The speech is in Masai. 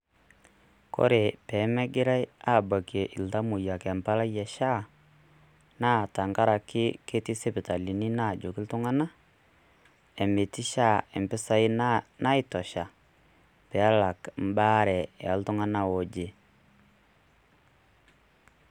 Kore meemegirae aalakie iltamoyia embalai eSHA naa tengaraki ketii isipitalini naajoki iltung'anak, metii SHA impisai naitosha peelak ebaare oltung'anak ooje.